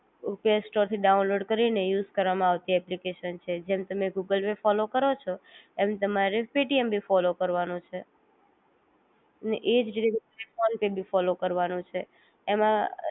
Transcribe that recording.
play store થી download કરી ને યુઝ કરવામાં આવતી એપ્લિકેશન છે જેમ તમે ગૂગલ પે ફોલો કરો છો એમ તમારે પેટીએમ ભી ફોલો કારવનું છે ને એ જ રીતે ફોનપે બી ફોલો લરવાનું છે